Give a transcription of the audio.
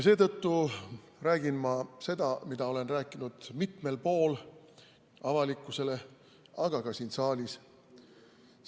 Seetõttu räägin ma seda, mida olen avalikkusele rääkinud juba mitmel pool, ka siin saalis.